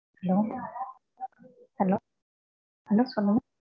hello, hello, hello சொலுங்க